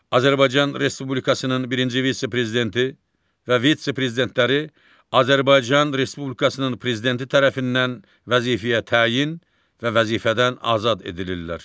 Azərbaycan Respublikasının birinci vitse-prezidenti və vitse-prezidentləri Azərbaycan Respublikasının prezidenti tərəfindən vəzifəyə təyin və vəzifədən azad edilirlər.